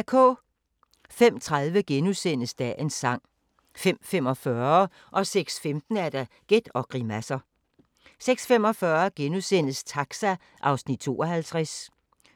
05:30: Dagens sang * 05:45: Gæt og grimasser 06:15: Gæt og grimasser 06:45: Taxa (52:56)*